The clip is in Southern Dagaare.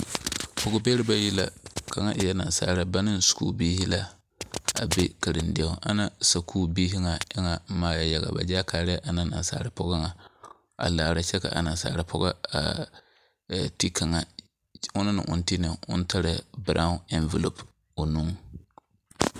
Pɔgebɛre bayi la kaŋa e la nasaali ba ne sukuubiri la be karendie poɔ, ana sukuubiri nyɛ eŋa maa la yaga ba kaarɛɛ ana nasaal pɔgɔ nyɛ a laala kyɛ ka a nasaal pɔgɔ a ti kaŋa, onɔŋ na o naŋ ti tarɛɛ biraao eŋvolopo o boŋ.